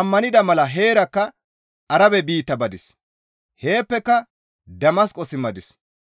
ammanida mala heerakka Arabe biitta badis; heeppeka Damasqo simmadis.